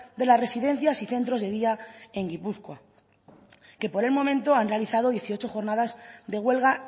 de las residencias y centros de día en gipuzkoa que por el momento han realizado dieciocho jornadas de huelga